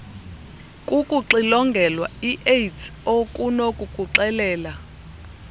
kukuxilongelwa iaids okunokukuxelela